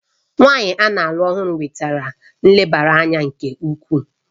Nwunye a na-alụ ọhụrụ nwetara nlebara anya nke ukwuu